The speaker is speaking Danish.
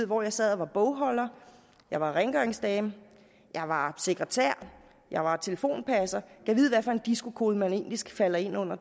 hvor jeg sad og var bogholder jeg var rengøringsdame jeg var sekretær jeg var telefonpasser gad vide hvad for en disco kode man egentlig falder ind under